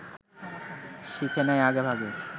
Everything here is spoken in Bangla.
শিখে নেয় আগেভাগে